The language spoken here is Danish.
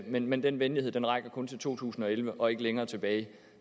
men men den venlighed rækker kun til to tusind og elleve og ikke længere tilbage